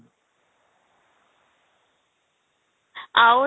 ଆଉ